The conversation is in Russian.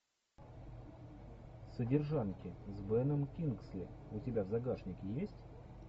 содержанки с беном кингсли у тебя в загашнике есть